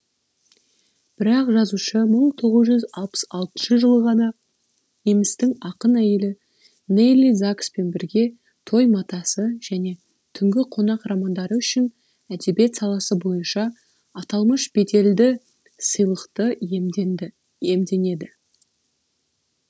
бірақ жазушы мың тоғыз жүз алпыс алтыншы жылы ғана немістің ақын әйелі нелли закспен бірге той матасы және түнгі қонақ романдары үшін әдебиет саласы бойынша аталмыш беделді сыйлықты иемденеді